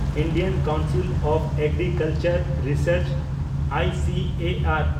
Indian Council of Agriculture Research (I C A R)